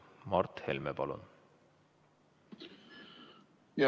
Mart Helme, palun!